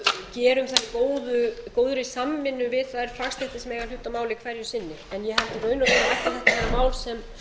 máli hverju sinni en ég held í raun og veru ætti þetta að vera mál sem